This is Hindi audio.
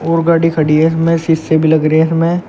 और गाड़ी खड़ी है इसमें शीशे भी लग रही है इसमें।